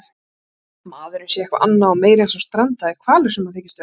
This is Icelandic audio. maðurinn sé eitthvað annað og meira en sá strandaði hvalur sem hann þykist vera.